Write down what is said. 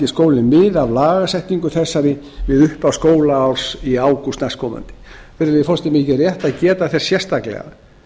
skólinn mið af lagasetningu þessari við upphaf skólaárs í ágúst næstkomandi virðulegi forseti mér þykir rétt að geta þess sérstaklega